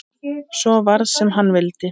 Svo varð sem hann vildi.